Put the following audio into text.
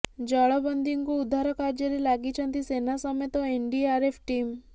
ଜଳବନ୍ଦୀଙ୍କୁ ଉଦ୍ଧାର କାର୍ଯ୍ୟରେ ଲାଗିଛନ୍ତି ସେନା ସମେତ ଏନଡିଆରଏଫ୍ ଟିମ୍